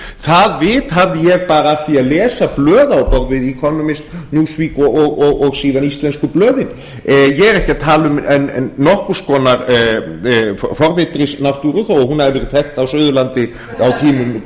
það vit hafði ég bara af því að lesa blöð economist newsweek og síðan íslensku blöðin ég er ekki að tala um nokkurs konar forvitrisnáttúru þó hún hafi verið þekkt á suðurlandi á tímum